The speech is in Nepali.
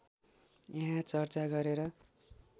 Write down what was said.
यहाँ चर्चा गरेर